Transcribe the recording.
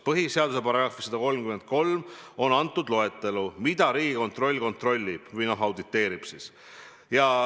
Põhiseaduse §-s 133 on kirjas loetelu, mida Riigikontroll kontrollib või auditeerib.